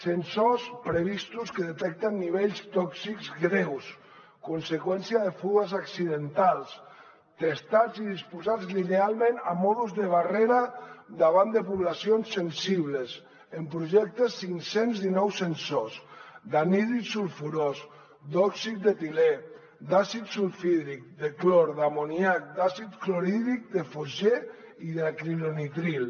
sensors previstos que detecten nivells tòxics greus conseqüència de fuites accidentals testats i disposats linealment a mode de barrera davant de poblacions sensibles en projecte cinc cents i dinou sensors d’anhídrid sulfurós d’òxid d’etilè d’àcid sulfhídric de clor d’amoníac d’àcid clorhídric de fosgen i d’acrilonitril